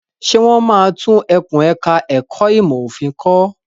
Ṣé wọ́n máa tún ẹkùn ẹ̀ka ẹ̀kó ìmọ̀ òfin kọ́?